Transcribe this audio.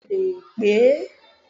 Béèni mo leè pè é